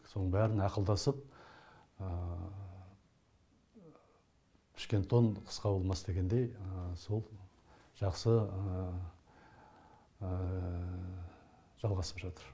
соның бәрін ақылдасып пішкен тон қысқа болмас дегендей сол жақсы жалғасып жатыр